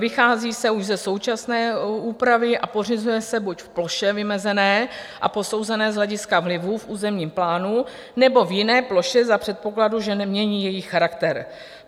Vychází se už ze současné úpravy a pořizuje se buď v ploše vymezené a posouzené z hlediska vlivu v územním plánu, nebo v jiné ploše za předpokladu, že nemění její charakter.